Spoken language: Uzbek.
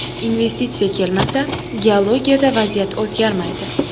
Investitsiya kelmasa, geologiyada vaziyat o‘zgarmaydi.